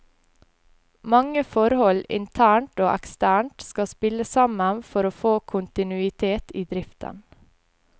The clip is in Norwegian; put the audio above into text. Mange forhold internt og eksternt skal spille sammen for å få kontinuitet i driften.